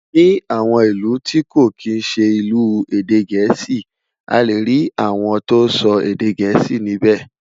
Ní àwọn ìlù tí kò kín ṣé ilu èdè gèésì, a lẹ rí àwòn tó sọ èdè gèésì níbè